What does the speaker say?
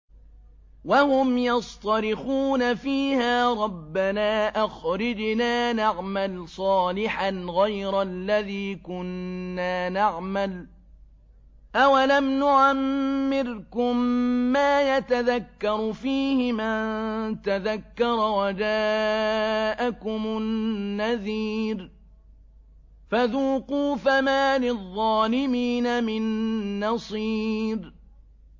وَهُمْ يَصْطَرِخُونَ فِيهَا رَبَّنَا أَخْرِجْنَا نَعْمَلْ صَالِحًا غَيْرَ الَّذِي كُنَّا نَعْمَلُ ۚ أَوَلَمْ نُعَمِّرْكُم مَّا يَتَذَكَّرُ فِيهِ مَن تَذَكَّرَ وَجَاءَكُمُ النَّذِيرُ ۖ فَذُوقُوا فَمَا لِلظَّالِمِينَ مِن نَّصِيرٍ